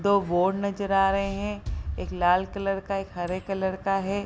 दो बोर्ड नजर आ रहे हैं एक लाल कलर का एक हरे कलर का है।